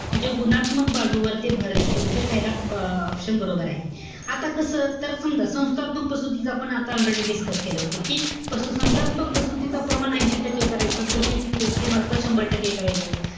म्हणजे गुणात्मक बाजूवर ते भर देतं. म्हणजे पहिला अं option बरोबर आहे. आता कसं? तर समजा, संस्थात्मक प्रसूतीच आपण आता already discuss केलं होतं. कि संस्थात्मक प्रसूतीच प्रमाण ऐशी टक्के करायचं. प्रशिक्षित व्यक्तीमार्फ, शंभर टक्के करायचं.